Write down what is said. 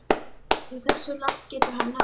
En hversu langt getur hann náð?